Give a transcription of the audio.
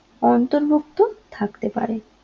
অন্তর্ভুক্ত থাকতে পারে